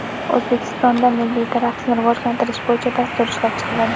O‘zbekistonda milliy raqsni rivojlantirish bo‘yicha dastur ishlab chiqiladi.